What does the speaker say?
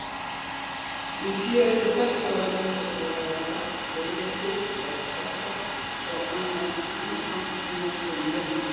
Í síðasta þætti var minnst á skógarelda, hvirfilbylji, jarðskjálfta og annan hamagang í náttúrunnar ríki.